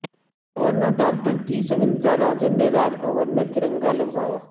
governor doctor T Soundara Rajan نے راج بھون میں ترنگا لہرایا